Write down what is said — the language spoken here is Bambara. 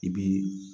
I bi